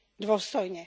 dôstojne.